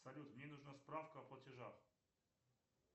салют мне нужна справка о платежах